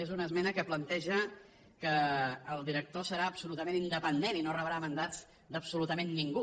és una esmena que planteja que el director serà absolutament independent i no rebrà mandats d’absolutament ningú